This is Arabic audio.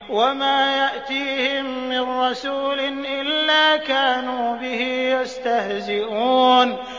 وَمَا يَأْتِيهِم مِّن رَّسُولٍ إِلَّا كَانُوا بِهِ يَسْتَهْزِئُونَ